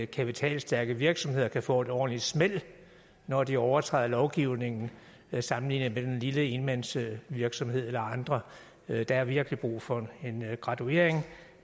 kapitalstærke virksomheder kan få et ordentligt smæld når de overtræder lovgivningen sammenlignet med den lille enmandsvirksomhed eller andre der er virkelig brug for en graduering og